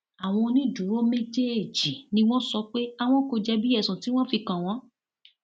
àwọn onídùúró méjèèjì ni wọn sọ pé àwọn kò jẹbi ẹsùn tí wọn fi kàn wọn